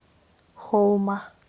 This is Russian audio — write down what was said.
хоума